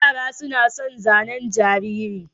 Yara suna sa zanen jariri.